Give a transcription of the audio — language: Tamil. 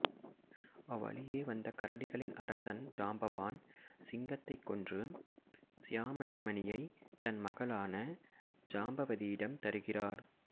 அவ்வழியே வந்த கரடிகளின் அரசன் ஜாம்பவான் சிங்கத்தைக் கொன்று சியாமந்தமணியை தன் மகளான ஜாம்பவதியிடம் தருகிறார்